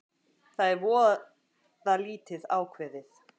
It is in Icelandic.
Það er voða lítið ákveðið